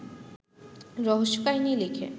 রহস্যকাহিনী লিখে